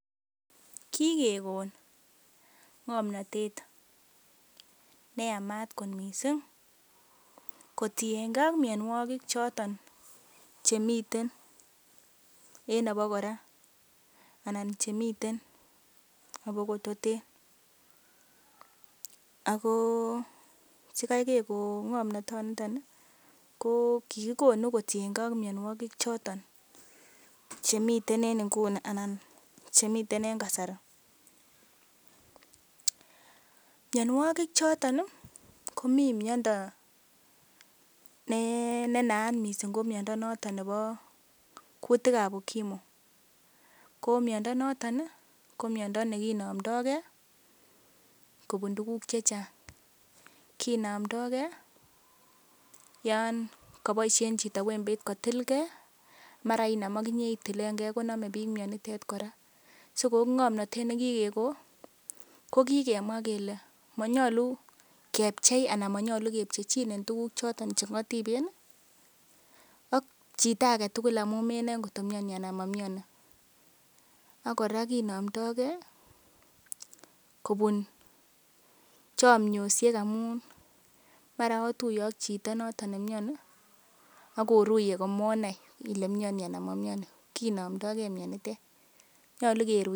Kigekon komnatet neyamat kot mising kotienge ak mianwogik choto chemiten en abakora anan chemiten aba kototen. Ago sikai kegon ng'omnatonito ko kigikonu kotienge ak mianwogik choto chemiten en nguni anan chemiten en kasari minawogik choton komi miondo ne naat mising noton ko miondo nebo kutik ab UKIMWI. Ko miondo noton komiondo nekinomdo ge kobuun tuguk che chang. Kinomdoge yon koboiisien chito wembeit kotilge, mara inam ak inye itilenge koname biik mionitet kora. So ko ng'omnatet ne kigekon ko kigemwa kele monyolu kepchei anan monyolu kepchechine tuguk choto che ng'otiben ak chito age tugul amun menoe kotko miani anan momiani ak kora kinomdage kobun chomyosiek amun mara otuye ak chito noton ne miani ak oruye komonai ile miani anan mo miani kinomdoge mianitet.